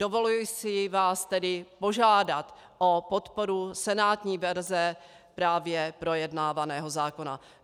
Dovoluji si vás tedy požádat o podporu senátní verze právě projednávaného zákona.